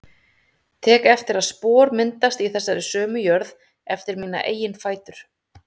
Tek eftir að spor myndast í þessari sömu jörð eftir mína eigin fætur.